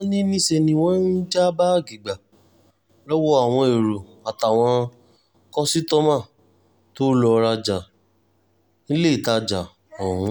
wọ́n ní níṣẹ́ ni wọ́n ń já báàgì gbà lọ́wọ́ àwọn èrò àtàwọn kọ́sítọ́mà tó lọ́ọ́ rajà níléetajà ọ̀hún